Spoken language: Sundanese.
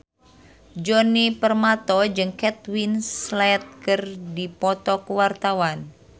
Djoni Permato jeung Kate Winslet keur dipoto ku wartawan